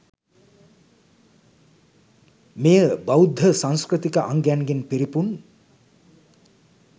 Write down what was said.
මෙය බෞද්ධ සංස්කෘතික අංගයන්ගෙන් පිරිපුන්